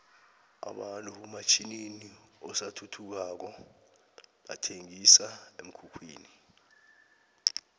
abantu hamatjninini asathuthukako bathenqisa emkhukhwini